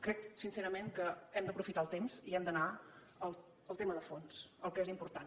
crec sincerament que hem d’aprofitar el temps i hem d’anar al tema de fons al que és important